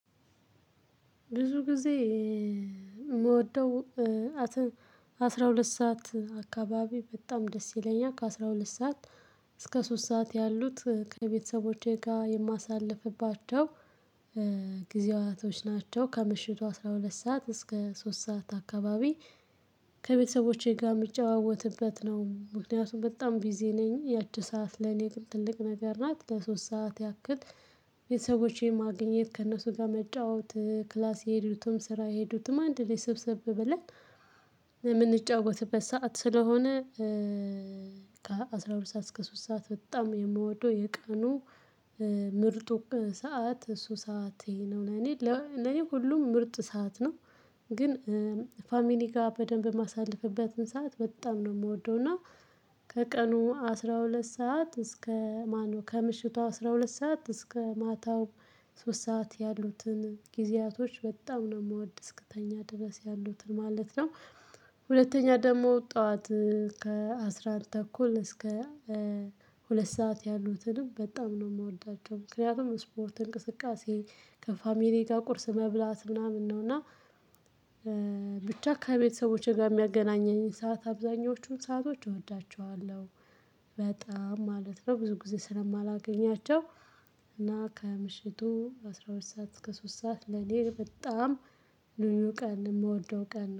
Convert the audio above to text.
ብዙ ጊዜ የምወደው አስራ ሁለት ሰዓት አካባቢ በጣም ደስ ይለኛል ከአሥራ ሁለት ሰዓት እስከ ሶስት ሰዓት ያሉት ከቤተሰቦቼ ጋር የማሳልፍባቸው ጊዜያቶች ናቸው። ከምሽቱ አስራ ሁለት ሰዓት እስከ ሶስት ሰዓት አካባቢ ከቤተሰቦቼ ጋር የምጨዋወትበት ነው። ምክንያቱም በጣም ቢዚ ነኝ ያቺ ሰዓት ለኔ ግን ትልቅ ነገር ናት። ለሶስት ሰዓት ያክል ቤተሰቦቼን ማግኘት ከእነሱ ጋር መጫወት ክላስ የሄዱትም ስራ የሄዱትም አንድ ላይ ስብሰብ ብለን የምንጫወትበት ሰዓት ስለሆነ። ከአሥራ ሁለት ሰዓት እስከ ሶስት ሰዓት በጣም የምወደው የቀኑ ምርጡ ሰዓት እሱ ሰዓት ይሄ ነው። እኔ ለኔ ሁሉም ምርጥ ሰዓት ነው። ግን ፋሚሊ ጋር በደንብ የማሳልፍበትን ሰዓት በጣም ነው የምወደው እና። ከቀኑ አስራ ሁለት ሰዓት እስከ ማነው ከምሽቱ አስራ ሁለት ሰዓት እስከ ማታው ሶስት ሰዓት ያሉትን ጊዜያቶች በጣም ነው የምወድ እስክተኛ ድረስ ያሉትን ማለት ነው። ሁለተኛ ደግሞ ጠዋት ከአስራ አንድ ተኩል እስከ ሁለት ሰዓት ያሉትንም በጣም ነው የምወዳቸው። ምክንያቱም ስፖርት እንቅስቃሴ ከፋሚሊ ጋር ቁርስ መብላት ምናምን ነው። እና ብቻ ከቤተሰቦቼ ጋር የሚያገናኘኝ ሰዓት አብዛኞቹን ሰአቶች እወዳቸዋለሁ በጣም ማለት ነው። ብዙ ጊዜ ስለማላገኛቸው። እና ከምሽቱ አስራ ሁለት ሰዓት እስከ ሶስት ሰዓት ለኔ በጣም ልዩ ቀን የምወደው ቀን